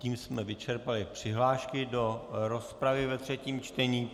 Tím jsme vyčerpali přihlášky do rozpravy ve třetím čtení.